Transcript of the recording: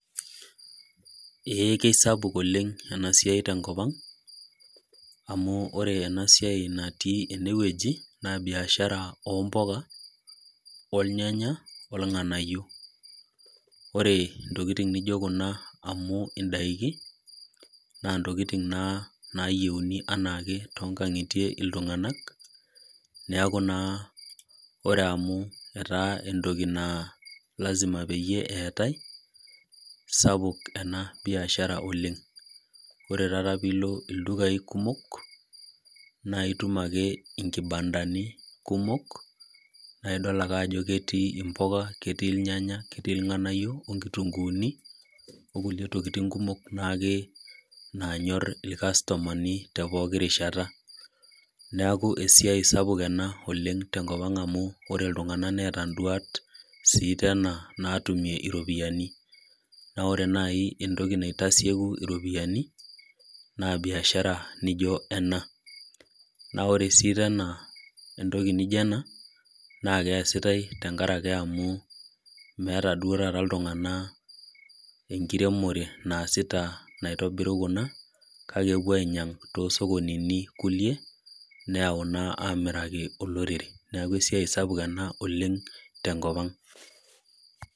Ee kisapuk ena siai tenkop ang. amu ore ena siai natii ene wueji, naa biashara oompuka, olnganayio. ore ntokitin nejo Kuna amu idaiki na ntokitin naa nayieuni anaake iltunganak. neeku Nas ore amu, etaa entoki naa lasima peyie eetae. sapuk ena biashara oleng. ore taata pee ilo ildukai kumok. naa itum ake inkibandani. kumok. naa idol ake ajo ketii ilnyanya, ilnganayio onkitunkuuni. okulie tokitin kumok naake. naanyor ilkastomani tekulie rishata. neeku esiai sapuk ena, oleng tenkopa ang. amu ore iltunganak neeta iduat sii natumie iropiyiani. naa ore naaji entoki naitasieku iropiyiani naa biashara naijo ena.na ore sii entoki naijo ena naa keesiatae amu meeta iltunganak enkiremore naitodolu kuna. kake epuo ainyiang. too sokonini kulie neyau naamiraki ilorere .neeku esiai sapuk ena oleng tenkopa ang.